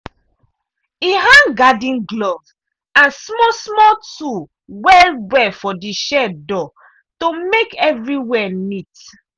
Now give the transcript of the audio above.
e hang garden glove and small-small tool well-well for the shed door to make everywhere neat.